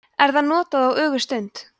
er það notað á ögurstund